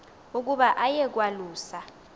ukuba aye kwalusa